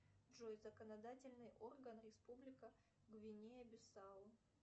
джой законодательный орган республика гвинея бисау